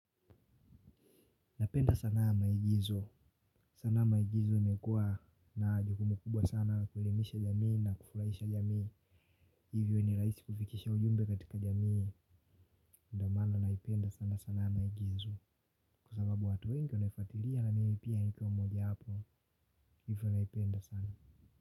Napenda sanaa ya maigizo. Sanaa ya maigizo imekua na jukumu kubwa sana kuelimisha jamii na kufurahisha jamii. Hivyo ni raisi kufikisha ujumbe katika jamii. Ndio maana naipenda sana sanaa ya maigizo. Kwa sababu watu wengi wanaifatiria na mimi pia nikiwa mmoja wapo. Hivyo naipenda sana.